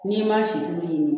N'i ma sido ɲini